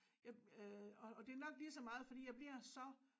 Jeg øh og og det nok lige så meget fordi jeg bliver så